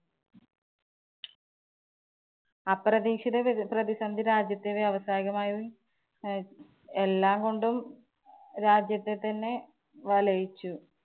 അപ്രതീക്ഷിത പ്രതിസന്ധി രാജ്യത്തെ വ്യാവസായികമായും എല്ലാംകൊണ്ടും രാജ്യത്തെ തന്നെ വലയിച്ചു.